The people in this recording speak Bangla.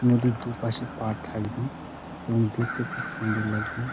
'' নদীর দু''''পাশে পাড় থাকবে | এবং দেখতে খুব সুন্দর লাগবে। ''